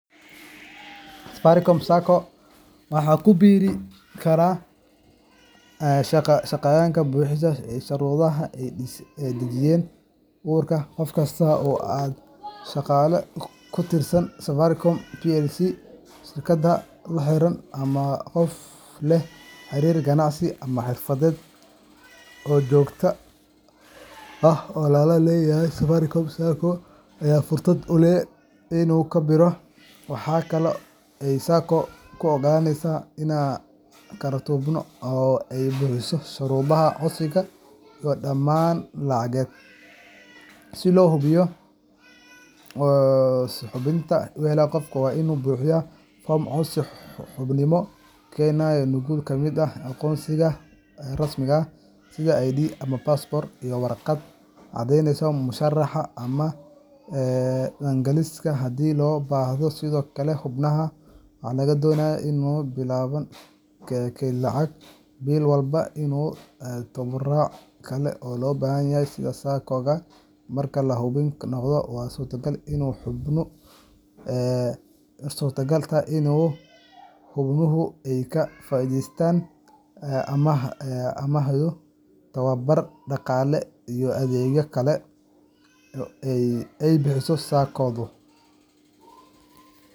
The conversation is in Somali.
Safaricom Sacco waxaa ku biiri kara shaqsiyaadka buuxiya shuruudaha ay dejisay ururkan. Qof kasta oo ah shaqaale ka tirsan Safaricom PLC, shirkadaha la xiriira, ama qof leh xiriir ganacsi ama xirfadeed oo joogto ah oo lala leeyahay Safaricom Sacco, ayaa fursad u leh inuu ku biiro. Waxaa kale oo ay Sacco-du oggolaan kartaa xubno ka tirsan bulshada guud, haddii ay buuxiyaan shuruudaha codsiga iyo dammaanadda lacageed. Si loo xubinimo u helo, qofka waa inuu buuxiyaa foom codsi xubinimo, keenaa nuqul ka mid ah aqoonsiga rasmiga ah sida ID ama baasaboorka, iyo warqad caddeyneysa mushaharka ama dakhligiisa haddii loo baahdo. Sidoo kale, xubnaha waxaa laga doonayaa inay bilaabaan kaydin lacageed bil walba iyo tabarucaad kale oo loo baahan yahay sida ku cad xeerarka Sacco-ga. Marka la xubin noqdo, waxaa suurtagal ah in xubnuhu ay ka faa’iideystaan amaahyo, tababaro dhaqaale, iyo adeegyo kale oo ay bixiso Sacco-du.